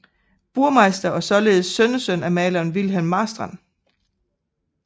Burmeister og således sønnesøn af maleren Wilhelm Marstrand